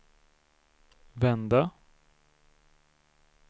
vända